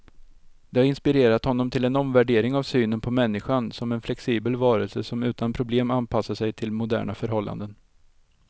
Det har inspirerat honom till en omvärdering av synen på människan, som en flexibel varelse som utan problem anpassat sig till moderna förhållanden.